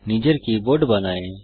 নিজের কীবোর্ড বানায়